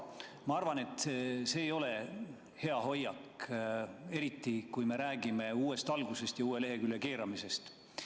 Ma arvan, et see ei ole hea hoiak, eriti kui me räägime uuest algusest ja uue lehekülje keeramisest.